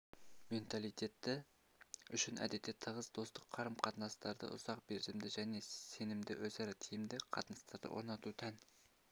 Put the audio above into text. менталитеті үшін әдетте тығыз достық қарым-қатынастарды ұзақ мерзімді және сенімді өзара тиімді қатынастарды орнату тән